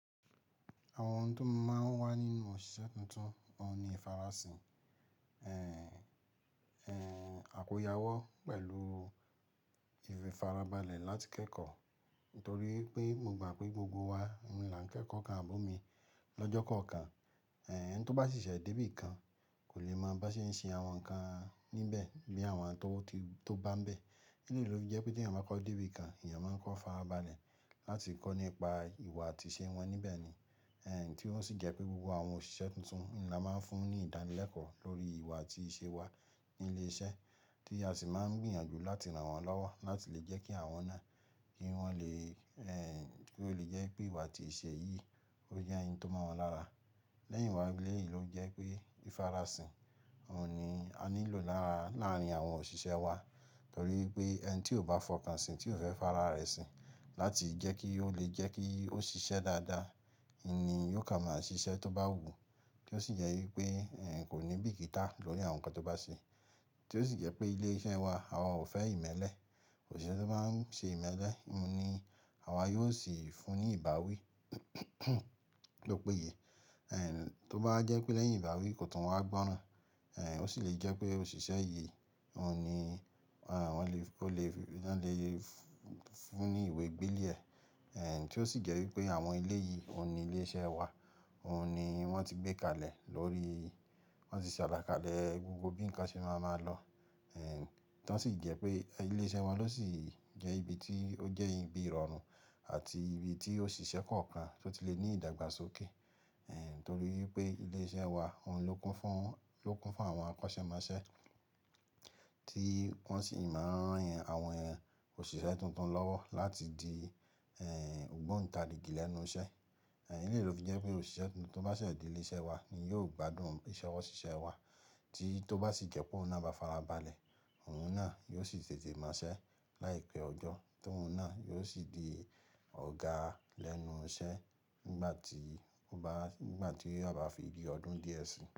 Àwọn ohun ti mo máa ń wà nínú òṣìṣẹ́ tuntun óun ni ìfarasin. Àkóya wọ́ pẹ̀lú ìfarabalẹ̀ láti kẹ́kọ̀ọ́ nítorí pé mo gbà pé gbogbo wa ni là ń kẹ́kọ̀ọ́ kan àbómi lọ́jọ́ kan kan. Tó bá sé sé dé ibi kan kò lè mọ bá ṣe ń ṣe àwọn nǹkan níbẹ̀ bí àwọn tó bá ń bẹ́ẹ̀. Ní ló fi jẹ́ pé tí èyàn bá kọ́ dé ibi kan, èyàn máa ń kọ́ farabalẹ̀ láti kọ́ nípa ìwà àti ìṣe wọn níbẹ̀ ni. Ti ó sì jẹ́ pé gbogbo àwọn òṣìṣẹ́ tuntun ni a máa ń fún ní ìdánilẹ́kọ̀ọ́ lórí ìwà àti ìṣe wa ní ilé iṣẹ́ tí a sì máa ń gbìyànjú láti rán wọn lọ́wọ́ láti lè jẹ́ kí àwọn náà kí wọ́n lè, kí ó lè jẹ́ pé ìwà àti ìṣe yìí ó jẹ́ òun tó mọ́ wọn lára. Lẹ́yìn wá, ilé yìí ló jẹ́ pé ìfarasin òun ni a nílò lára láàárín àwọn òṣìṣẹ́ wa. Nítorí pé ẹni tí ò bá fọkàn sí, tí ò fẹ́ fará rẹ̀ si láti jẹ́ kí ó lè jẹ́ kí ó ṣiṣẹ́ dáadáa ni yóò komà ṣiṣẹ́ tó bá wù tí ó sì jẹ́ wípé kò ní bìkítà lórí àwọn nǹkan tó bá ṣe. Tí ó sì jẹ́ pé ilé iṣẹ́ wa, àwa ò fẹ́ ìmẹ́lẹ́. Òṣìṣẹ́ tó bá ń ṣe ìmẹ́lẹ́ ni àwa yóò sì fún ní ìbáwí tó o péye. Tó bá wa jẹ́ pé lẹ́yìn ìbáwí kò tún wá gbọ́ràn, ó sì lè jẹ́ pé òṣìṣẹ́ yìí òun ni wọ́n lè, ó lè, wọn lè fún ní ìwé gbélé ẹ. Tí ó sì jẹ́ wípé àwọn ilé yìí òun ni ilé iṣẹ́ wa, òun ni wọ́n ti gbé kalẹ̀ lórí, wọ́n ti ṣe alákàlé gbogbo bí ǹkan ṣe máa ń lọ. Tí ó sì jẹ́ pé ilé iṣẹ́ wa ló sì jẹ́ ibi tí ó jẹ́ ibi ìrọ̀rùn àti ibi tí òṣìṣẹ́ kọ̀ọ̀kan tó ti lè ní ìdàgbàsókè. Nítorí pé ilé iṣẹ́ wa òun ló kún fún, ló kún fún àwọn akọ́ṣẹ́mọṣẹ́ tí wọ́n sì máa rán àwọn òṣìṣẹ́ tuntun lọ́wọ́ láti di ògbóǹta rìgí lẹ́nu iṣẹ́. Eleyii ló fi jẹ́ pé òṣìṣẹ́ tuntun tó bá ṣẹ̀ dé ilé iṣẹ́ wa ni yóò gbádùn iṣẹ́ wa. Tí tó bá sì jẹ́ pé òun náà bá farabalẹ̀, òun náà yóò sì tètè mò ṣẹ́ láìpẹ́ ọjọ́ tó òun náà yóò sì di ọ̀gá lẹ́nu iṣẹ́ nígbà tí ó bá, nígbà tí o bá fi di ọdún díẹ̀ si.